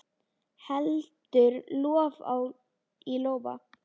Heldur lof í lófa.